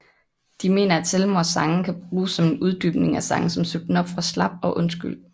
De mener at Selvmords sange kan bruges som en uddybning af sange som Sut den op fra slap og Undskyld